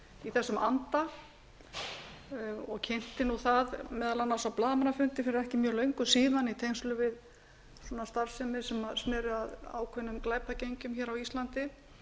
í þessum anda og kynnti það meðal annars á blaðamannafundi fyrir ekki mjög löngu síðan í tengslum við starfsemi sem sneri að ákveðnum glæpagengjum á íslandi